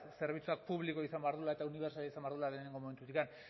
zerbitzuak publiko izan behar duela eta unibertsala izan behar duela lehenengo momentutik